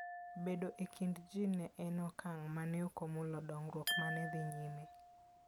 Bedo e kind ji ne en okang ' ma ne ok omulo dongruok ma ne dhi nyime.